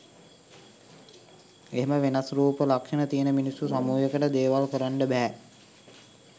එහෙම වෙනස් රුප ලක්ෂණ තියෙන මිනිස්සු සමුහයකට “” දේවල් කරන්ඩ බැහැ.